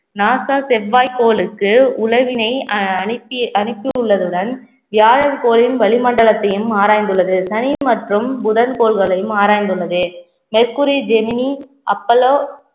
NASA செவ்வாய் கோளுக்கு உழவினை அஹ் அனிபிய~ அனுப்பி உள்ளதுடன் வியாழன் கோளின் வளிமண்டலத்தையும் ஆராய்ந்துள்ளது சனி மற்றும் புதன் கோள்களையும் ஆராய்ந்துள்ளது மெர்குரி ஜெமினி அப்போலோ